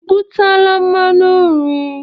I butela mmanụ nri?